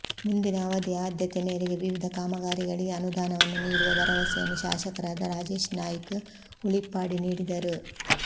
ಮುಂದಿನ ಅವಧಿಯ ಆದ್ಯತೆ ಮೇರೆಗೆ ವಿವಿಧ ಕಾಮಗಾರಿಗಳಿಗೆ ಅನುದಾನವನ್ನು ನೀಡುವ ಭರವಸೆಯನ್ನು ಶಾಸಕರಾದ ರಾಜೇಶ್ ನಾಯ್ಕ್ ಉಳಿಪ್ಪಾಡಿ ನೀಡಿದರು